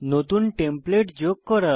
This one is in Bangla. নতুন টেমপ্লেট যোগ করা